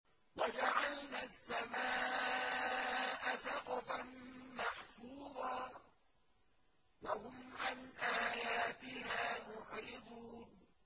وَجَعَلْنَا السَّمَاءَ سَقْفًا مَّحْفُوظًا ۖ وَهُمْ عَنْ آيَاتِهَا مُعْرِضُونَ